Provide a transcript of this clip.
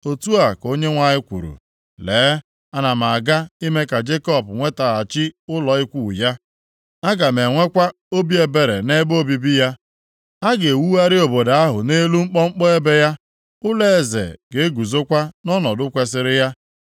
“Otu a ka Onyenwe anyị kwuru, “ ‘Lee, ana m aga ime ka Jekọb nwetaghachi ụlọ ikwu + 30:18 Ya bụ, ebe obibi ya; aga m enwekwa obi ebere nʼebe obibi ya. A ga-ewugharị obodo ahụ nʼelu mkpọmkpọ ebe ya; + 30:18 Ụfọdụ akwụkwọ na-asị nʼelu ugwu ya ụlọeze ga-eguzokwa nʼọnọdụ kwesiri ya.